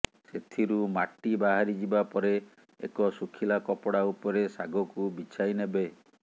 ସେଥିରୁ ମାଟି ବାହାରିଯିବା ପରେ ଏକ ଶୁଖିଲା କପଡ଼ା ଉପରେ ଶାଗକୁ ବିଛାଇନେବେ